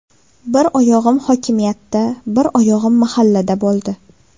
Bir oyog‘im hokimiyatda, bir oyog‘im mahallada bo‘ldi.